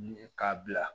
K'a bila